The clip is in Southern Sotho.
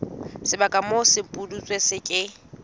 sebaka moo sepudutsi se ke